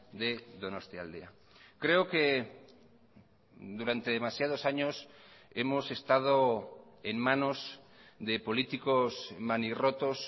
de donostialdea creo que durante demasiados años hemos estado en manos de políticos manirrotos